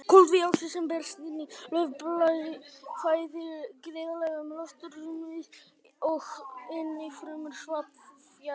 Koltvíoxíð sem berst inn í laufblaði flæðir greiðlega um loftrúmið og inn í frumur svampvefjarins.